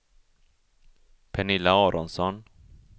Pernilla Aronsson